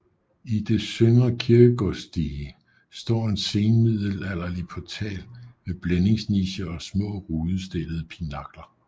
I det søndre kirkegårdsdige står en senmiddelalderlig portal med blændingsnicher og små rudestillede pinakler